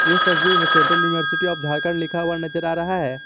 इस तस्वीर में सेंट्रल यूनिवर्सिटी आफ झारखंड लिखा हुआ नजर आ रहा है।